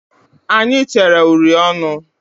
Anyị tere uri ọnụ.